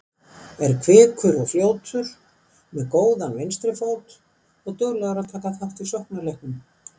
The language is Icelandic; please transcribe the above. Er kvikur og fljótur, með góðan vinstri fót og duglegur að taka þátt í sóknarleiknum.